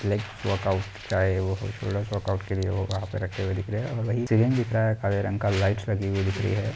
Leg workout का है वो वर्काउट के लिए वहा रखे हुए दिख रहे है और काले रंग का लाइटस लगी हुई दिख रही है।